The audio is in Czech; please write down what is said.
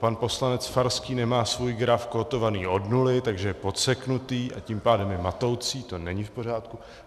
Pan poslanec Farský nemá svůj graf kótovaný od nuly, takže je podseknutý, a tím pádem je matoucí, to není v pořádku.